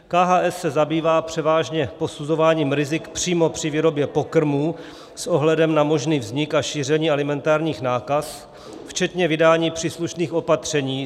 KHS se zabývá převážně posuzováním rizik přímo při výrobě pokrmů s ohledem na možný vznik a šíření alimentárních nákaz, včetně vydání příslušných opatření.